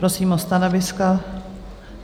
Prosím o stanoviska.